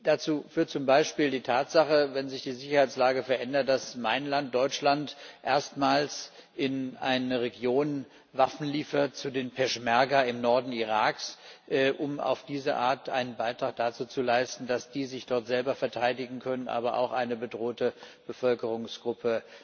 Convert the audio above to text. Dazu führt zum Beispiel die Tatsache, wenn sich die Sicherheitslage verändert, dass mein Land Deutschland erstmals in eine Region Waffen liefert an die Peschmerga im Norden Iraks um auf diese Art einen Beitrag dazu zu leisten, dass die sich dort selber verteidigen können, aber auch eine bedrohte Bevölkerungsgruppe